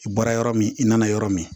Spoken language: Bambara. I bɔra yɔrɔ min i nana yɔrɔ min